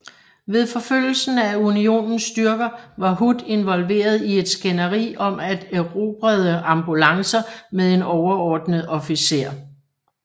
Ved forfølgelsen af Unionens styrker var Hood involveret i et skænderi om erobrede ambulancer med en overordnet officer